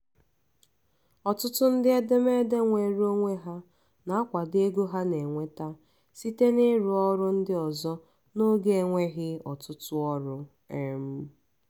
ọtụtụ ndị edemede nweere onwe ha um na-akwado ego ha na-enweta site n'ịrụ ọrụ ndị ọzọ n'oge enweghị ọtụtụ ọrụ. um